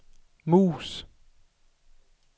mus